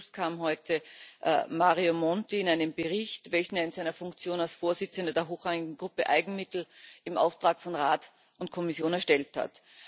Zu diesem Schluss kam heute Mario Monti in einem Bericht, welchen er in seiner Funktion als Vorsitzender der Hochrangigen Gruppe Eigenmittel im Auftrag von Rat und Kommission erstellt hat.